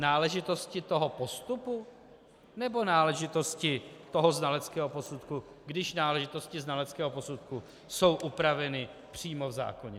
Náležitosti toho postupu, nebo náležitosti toho znaleckého posudku, když náležitosti znaleckého posudku jsou upraveny přímo v zákoně?